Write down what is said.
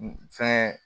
Fɛn